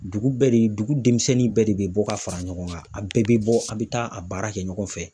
Dugu bɛɛ de, dugu denmisɛnnin bɛɛ de be bɔ ka fara ɲɔgɔn kan .A bɛɛ be bɔ a be taa a baara kɛ ɲɔgɔn fɛ.